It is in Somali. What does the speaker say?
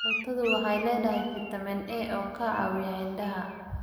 Karootadu waxay leedahay fiitamiin A oo ka caawiya indhaha.